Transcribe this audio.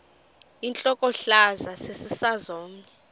intlokohlaza sesisaz omny